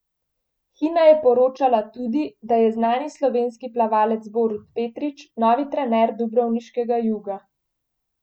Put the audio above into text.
Hina je poročala tudi, da je znani slovenski plavalec Borut Petrić novi trener dubrovniškega Juga.